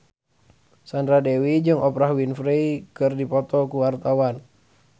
Sandra Dewi jeung Oprah Winfrey keur dipoto ku wartawan